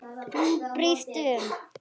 Hún brýst um.